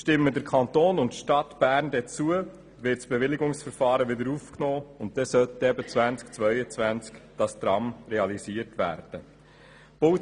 Stimmen der Kanton und die Stadt Bern zu, wird das Bewilligungsverfahren wieder aufgenommen, sodass das Tram im Jahr 2022 realisiert werden sollte.